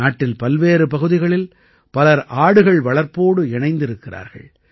நாட்டில் பல்வேறு பகுதிகளில் பலர் ஆடுகள் வளர்ப்போடு இணைந்திருக்கிறார்கள்